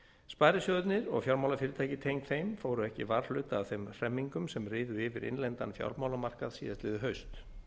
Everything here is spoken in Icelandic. sparisjóðirnir og fjármálafyrirtæki tengd þeim fóru ekki varhluta af þeim hremmingum sem riðu yfir innlendan fjármálamarkað síðastliðið haust